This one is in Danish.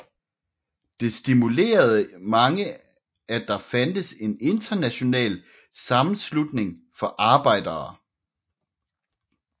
Det stimulerede mange at der fandtes en international sammenslutning for arbejdere